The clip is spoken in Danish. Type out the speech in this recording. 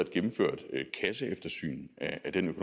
gennemført et kasseeftersyn af den